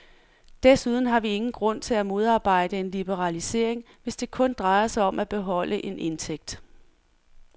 Desuden har vi ingen grund til at modarbejde en liberalisering, hvis det kun drejer sig om at beholde en indtægt.